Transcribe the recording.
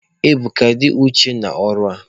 Ebuka, dị uchu n'ọrụ a!